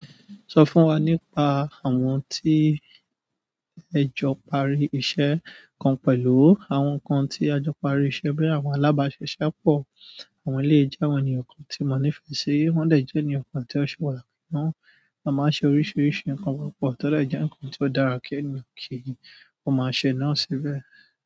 Sọ fún wa nípa àwọn tí ẹ jọ parí iṣẹ́ kan pẹ̀lú, àwọn nǹkan tí a jọ parí iṣẹ́ boya àwọn alábáṣiṣẹ́ pọ̀. Àwọn eleyii jẹ́ àwọn ènìyàn kan tí mo nífẹ̀ẹ́ sí, wọ́n dè jẹ́ ènìyàn kan tí ó ṣe pàtàkì náà. A máa ń ṣe oríṣiríṣi nǹkan púpọ̀, tio de je nǹkan tí ó dára kí ènìyàn kí ó máa ṣe náà síbẹ̀.